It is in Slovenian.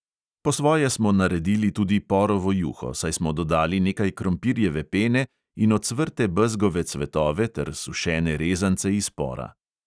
Po svoje smo naredili tudi porovo juho, saj smo dodali nekaj krompirjeve pene in ocvrte bezgove cvetove ter sušene rezance iz pora.